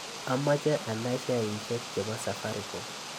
Amoche anai sheaisiek chebo safaricom